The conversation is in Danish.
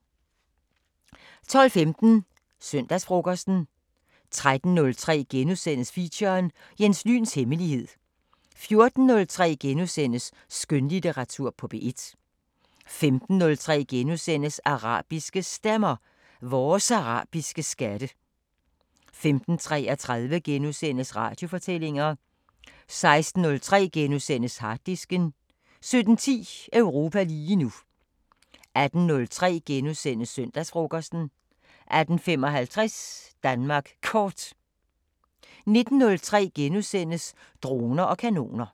12:15: Søndagsfrokosten 13:03: Feature: Jens Lyns hemmelighed * 14:03: Skønlitteratur på P1 * 15:03: Arabiske Stemmer: Vores arabiske skatte * 15:33: Radiofortællinger * 16:03: Harddisken * 17:10: Europa lige nu 18:03: Søndagsfrokosten * 18:55: Danmark Kort 19:03: Droner og kanoner *